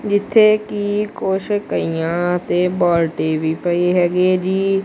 ਜਿੱਥੇ ਕੀ ਕੁਛ ਕਹੀਆਂ ਤੇ ਬਾਲਟੀ ਵੀ ਪਈ ਹੈਗੀ ਹੈ ਜੀ।